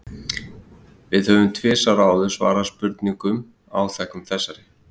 Við höfum tvisvar áður svarað spurningum áþekkum þessari.